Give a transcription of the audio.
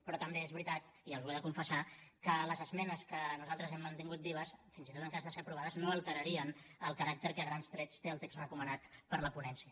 però també és veritat i els ho he de confessar que les esmenes que nosaltres hem mantingut vives fins i tot en cas de ser aprovades no alterarien el caràcter que a grans trets té el text recomanat per la ponència